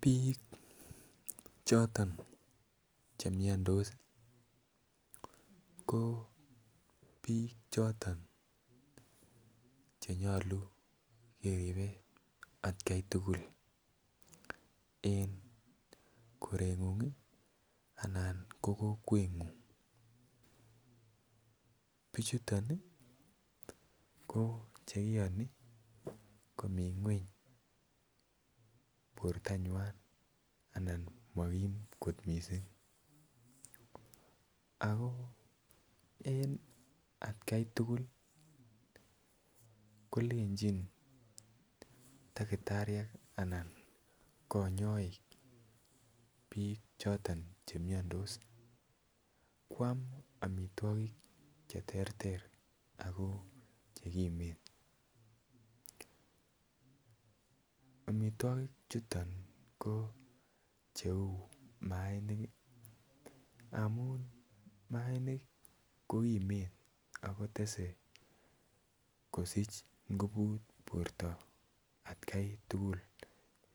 Bik choton che miandos ko bik choton che nyolu keribe atkan tugul en korengung Anan ko kokwengung bichuton ko Che kiyoni komi ngwony bortanywa anan makim mising en atkai tugul kolenjin takitariek anan kanyaik bik choton Che miandos koam amitwogik Che terter ago Che kimen amitwogik chuton ko cheu mainik amun mainik kotese kosich nguvut borto atkai tugul